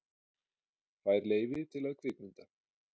Fær leyfi til að kvikmynda